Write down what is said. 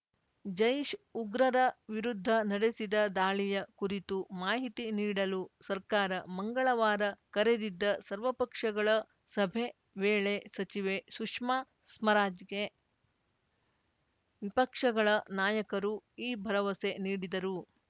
ಜೈಷ್‌ ಉಗ್ರರ ವಿರುದ್ಧ ನಡೆಸಿದ ದಾಳಿಯ ಕುರಿತು ಮಾಹಿತಿ ನೀಡಲು ಸರ್ಕಾರ ಮಂಗಳವಾರ ಕರೆದಿದ್ದ ಸರ್ವಪಕ್ಷಗಳ ಸಭೆ ವೇಳೆ ಸಚಿವೆ ಶುಷ್ಮಾ ಸ್ಮರಾಜ್‌ಗೆ ವಿಪಕ್ಷಗಳ ನಾಯಕರು ಈ ಭರವಸೆ ನೀಡಿದರು